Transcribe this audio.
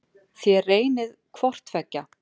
Þér reynið hvort tveggja.